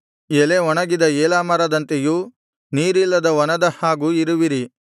ಎಲೆ ಒಣಗಿದ ಏಲಾ ಮರದಂತೆಯೂ ನೀರಿಲ್ಲದ ವನದ ಹಾಗೂ ಇರುವಿರಿ